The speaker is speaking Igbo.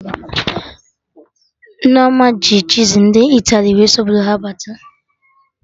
Nneoma ji cheezi ndị Italy wee sị Obodo ha bata